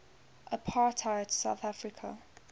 apartheid south africa